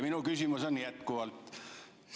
Minu küsimus on jätkuvalt sama.